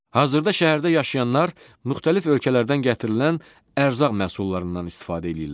Hazırda şəhərdə yaşayanlar müxtəlif ölkələrdən gətirilən ərzaq məhsullarından istifadə eləyirlər.